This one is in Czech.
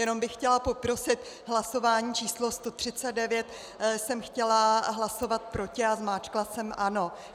Jenom bych chtěla poprosit, hlasování číslo 139 jsem chtěla hlasovat proti a zmáčkla jsem ano.